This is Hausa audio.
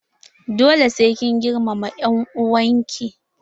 Dole sai kin girmama en'uwan ki!